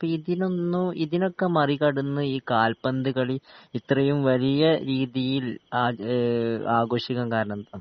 അപ്പൊ ഇതിനൊന്നും ഇതിനൊക്കെ മറികടന്ന് ഈ കാൽപ്പന്ത് കളി ഇത്രയും വലിയ രീതിയിൽ ആജ് ഏ ആഘോഷിക്കാൻ കാരണെന്താ